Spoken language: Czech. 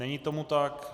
Není tomu tak.